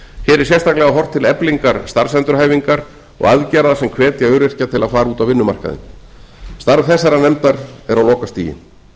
er sérstaklega horft til eflingar starfsendurhæfingar og aðgerða sem hvetja öryrkja til að fara út á vinnumarkaðinn starf þessarar nefndar er á lokastigi